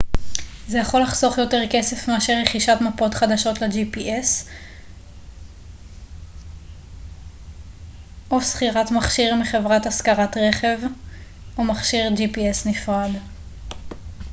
זה יכול לחסוך יותר כסף מאשר רכישת מפות חדשות ל-gps או מכשיר gps נפרד או שכירת מכשיר מחברת השכרת רכב